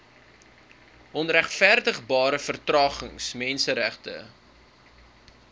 onregverdigbare vertragings menseregte